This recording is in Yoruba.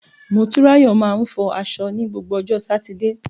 Motunrayo máa ń fọ aṣọ ní gbogbo ọjọ́ Sátidé.